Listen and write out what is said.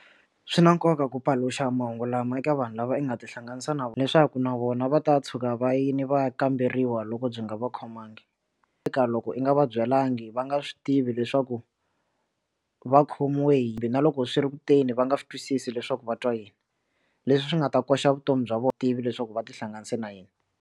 Swi na nkoka ku paluxa mahungu lama eka vanhu lava nga tihlanganisa na leswaku na vona va ta tshuka vayeni va ya kamberiwa loko byi nga va khomangi eka loko i nga va byalanga va nga swi tivi leswaku va khomiwe hambi na loko swi ri kuteni va nga swi twisisi leswaku va twa yini leswi swi nga ta koxa vutomi bya vona tivi leswaku va tihlanganisa na yena.